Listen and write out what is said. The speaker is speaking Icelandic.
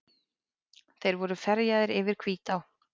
Þeir voru ferjaðir yfir Hvítá.